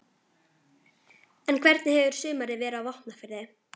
En hvernig hefur sumarið verið á Vopnafirði?